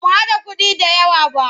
Ba mu haɗa kuɗi da yawq ba.